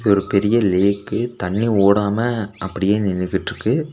இது ஒரு பெரிய லேக்கு தண்ணி ஓடாம அப்படியே நின்னுகிட்ருக்கு.